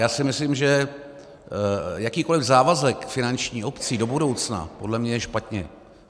Já si myslím, že jakýkoliv závazek finanční obcím do budoucna podle mě je špatně.